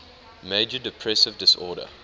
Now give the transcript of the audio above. major depressive disorder